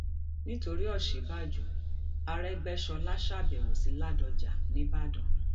nítorí òsínbàjò um àrégbèsọlá ṣàbẹwò sí ládọjá nìbàdàn